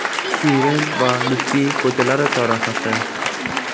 Shirin va Lutfiy ko‘chalari chorrahasi.